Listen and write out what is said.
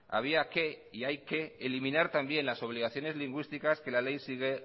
había que y hay que eliminar también las obligaciones lingüísticas que la ley sigue